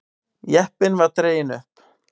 Jeppinn var dreginn upp.